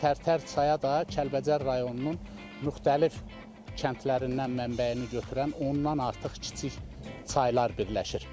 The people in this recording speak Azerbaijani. Və Tərtər çaya da Kəlbəcər rayonunun müxtəlif kəndlərindən mənbəyini götürən ondan artıq kiçik çaylar birləşir.